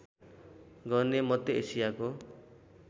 गर्ने मध्य एसियाको